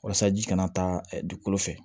Walasa ji kana taa dugukolo fɛ